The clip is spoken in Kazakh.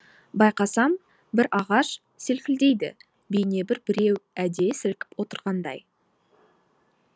байқасам бір ағаш селкілдейді бейнебір біреу әдейі сілкіп отырғандай